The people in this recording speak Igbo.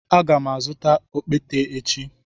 Aga m azụta okpete echi.